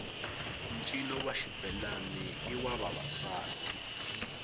ncino wa xibelani i wa vavasati